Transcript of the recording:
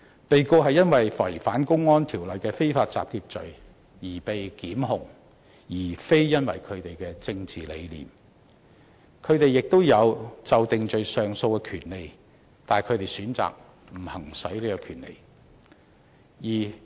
被告是因為違反《公安條例》的非法集結罪而被檢控，並非因為他們的政治理念，他們也享有就定罪上訴的權利，只是他們選擇不行使有關權利而已。